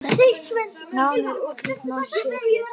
Nánari úrslit má sjá hér.